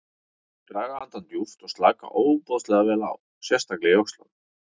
Viltu draga andann djúpt og slaka ofboðslega vel á, sérstaklega í öxlunum.